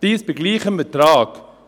Dies bei gleichem Ertrag.